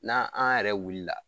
N'an an yɛrɛ wulila